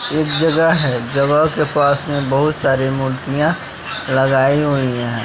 एक जगह है जगह के पास में बहुत सारी मूर्तियां लगाई हुई है।